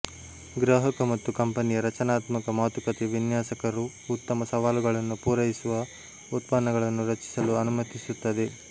ಗ್ರಾಹಕ ಮತ್ತು ಕಂಪನಿಯ ರಚನಾತ್ಮಕ ಮಾತುಕತೆ ವಿನ್ಯಾಸಕರು ಉತ್ತಮ ಈ ಸವಾಲುಗಳನ್ನು ಪೂರೈಸುವ ಉತ್ಪನ್ನಗಳನ್ನು ರಚಿಸಲು ಅನುಮತಿಸುತ್ತದೆ